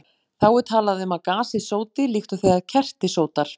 Þá er talað um að gasið sóti, líkt og þegar kerti sótar.